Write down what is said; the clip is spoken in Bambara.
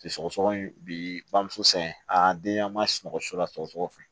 Sɔgɔsɔgɔni bi bamuso san a den an ma sunɔgɔ su la sɔgɔsɔgɔ fɛ